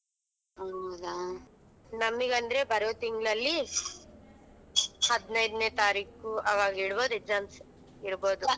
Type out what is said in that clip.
ಹೌದಾ ನಮಿಗ್ ಅಂದ್ರೆ ಬರೋ ತಿಂಗಳ್ಲಲಿ ಹದಿನೈದು ತಾರೀಕು ಅವಾಗ್ ಇಡಬಹುದು exams ಇಡಬಹುದು.